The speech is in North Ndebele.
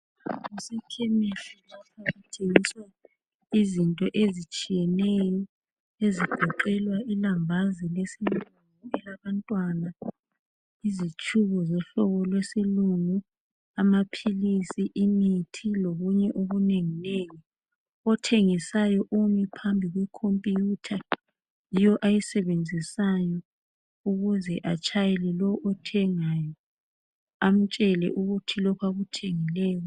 Kusekhemisi lapha kuthengiswa izinto ezitshiyeneyo ezigoqela ilambazi lesilungu elabantwana, izitshubo zohlobo lwesilungu, amaphilisi, imithi lokunye okunenginengi . Othengisayo umi phambi kwekhompiyutha yiyo ayisebenzisayo ukuze atshayele lowo othengayo amtshele ukuthi lokho akuthengileyo